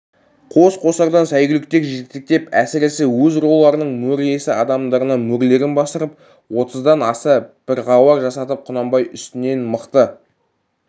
қос-қосардан сәйгүліктер жетектеп әсіресе өз руларының мөр иесі адамдарына мөрлерін бастырып отыздан аса пірғауар жасатып құнанбай үстінен мықты